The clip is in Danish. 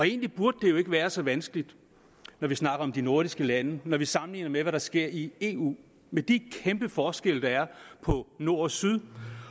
egentlig burde det jo ikke være så vanskeligt når vi snakker om de nordiske lande når vi sammenligner med hvad der sker i eu med de kæmpe forskelle der er på nord og syd